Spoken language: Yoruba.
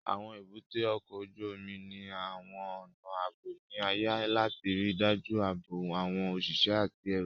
Àwọn èbúté ọkọ̀ ojú omi ní àwọn ọnà ààbò ní ààyè láti ríi dájú ààbò àwọn òṣìṣẹ́ àti ẹrù